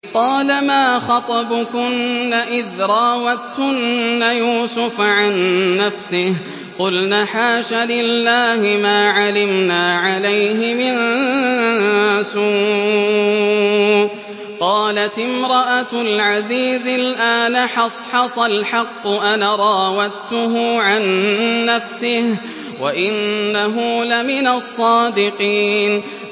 قَالَ مَا خَطْبُكُنَّ إِذْ رَاوَدتُّنَّ يُوسُفَ عَن نَّفْسِهِ ۚ قُلْنَ حَاشَ لِلَّهِ مَا عَلِمْنَا عَلَيْهِ مِن سُوءٍ ۚ قَالَتِ امْرَأَتُ الْعَزِيزِ الْآنَ حَصْحَصَ الْحَقُّ أَنَا رَاوَدتُّهُ عَن نَّفْسِهِ وَإِنَّهُ لَمِنَ الصَّادِقِينَ